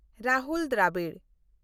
Rahul Dravid